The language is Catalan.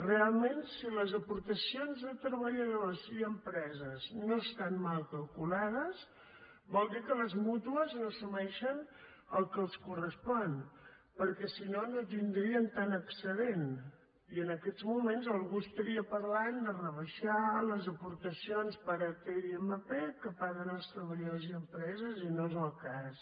realment si les aportacions de treballadors i empreses no estan mal calculades vol dir que les mútues no assumeixen el que els correspon perquè si no no tindrien tant excedent i en aquests moments algú parlaria de rebaixar les aportacions per at i mp que paguen els treballadors i empreses i no és el cas